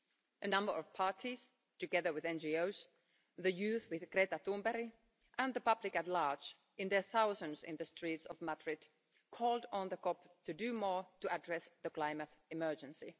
A number of parties, together with NGOs, the youth with Greta Thunberg, and the public at large, in their thousands in the streets of Madrid, called on the COP to do more to address the climate emergency.